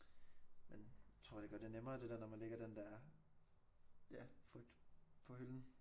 Men tror det gør det nemmere det der når man lægger den der ja frygt på hylden